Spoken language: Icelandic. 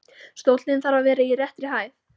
Stóllinn þarf að vera í réttri hæð.